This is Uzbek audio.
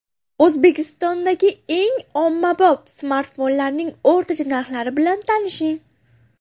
O‘zbekistondagi eng ommabop smartfonlarning o‘rtacha narxlari bilan tanishing.